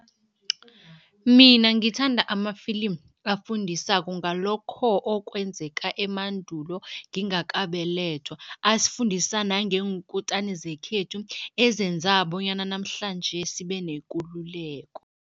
Mina ngithanda amafilimu afundisako ngalokho okwenzeka emandulo ngingakabelethwa, asifundisa nangeenkutani zekhethu ezenza bonyana namhlanje sibe nekululeko.